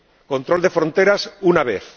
control de fronteras, una vez